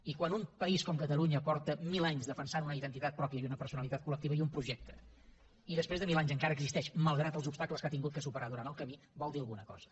i quan un país com catalunya fa mil anys que defensa una identitat pròpia i una personalitat col·lectiva i un projecte i després de mil anys encara existeix malgrat els obstacles que ha hagut de superar durant el camí vol dir alguna cosa